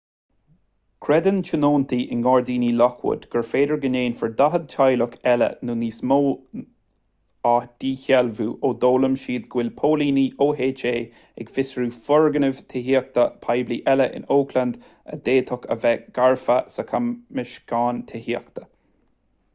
creideann tionóntaí i ngairdíní lockwood gur féidir go ndéanfar 40 teaghlach eile nó níos mó a dhíshealbhú ó d'fhoghlaim siad go bhfuil póilíní oha ag fiosrú foirgnimh tithíochta poiblí eile in oakland a d'fhéadfadh a bheith gafa sa chamscéim tithíochta